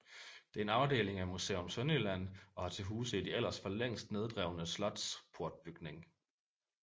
Det er en afdeling af Museum Sønderjylland og har til huse i det ellers for længst nedrevne slots portbygning